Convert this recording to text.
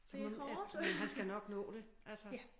Så må du ja men han skal nok nå det altså